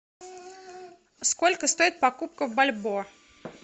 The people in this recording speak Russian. сколько стоит покупка бальбоа